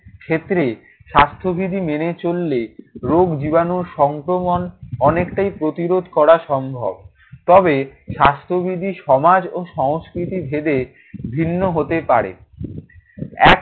ক্ষেত্রে স্বাস্থ্যবিধি মেনে চললে রোগ জীবাণুর সংক্রমণ অনেকটাই প্রতিরোধ করা সম্ভব। তবে স্বাস্থ্যবিধি সমাজ ও সংস্কৃতিভেদে ভিন্ন হতে পারে। এক